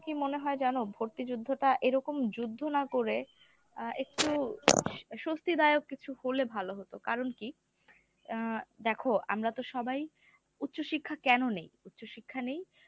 আমার কাছে কী মনে হয় জানো? ভর্তি যুদ্ধটা এরকম যুদ্ধ না করে আ একটু স্বস্তিদায়ক কিছু হলে ভালো হতো। কারণ কী অ্যাঁ দেখো আমরা তো সবাই উচ্চ শিক্ষা কেন নিই উচ্চ শিক্ষা নিই?